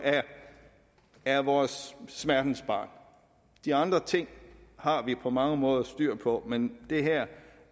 er vores smertensbarn de andre ting har vi på mange måder styr på men det her